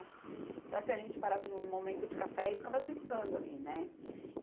Então, assim, a gente parava no momento de café e ficava brincando ali, né?